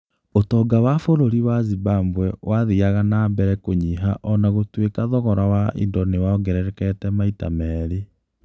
Ũtonga wa bũrũri wa Zimbabwe wathiaga na mbere kũnyiha o na gũtuĩka thogora wa indo nĩ wongererekete maita merĩ.